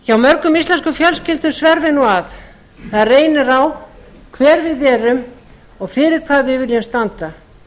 hjá mörgum íslenskum fjölskyldum sverfur nú að það reynir á hver við erum og fyrir hvað við viljum standa